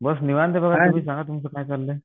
बस निवांत आहे बघा सांगा तुमचं काय चाललंय?